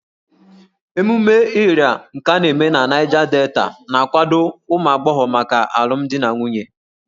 Ememe Ịrịa nke a na-eme na Niger Delta na-akwado ụmụ agbọghọ maka alụmdi na nwunye